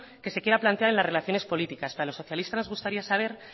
que se quiera plantear en las relaciones políticas pero a los socialistas nos gustaría saber